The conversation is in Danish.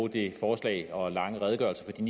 det forslag og den lange redegørelse